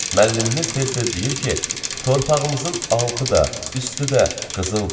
Müəllimimiz tez-tez deyir ki, torpağımızın altı da, üstü də qızıldır.